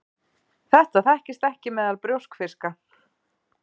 Þetta þekkist ekki meðal brjóskfiska.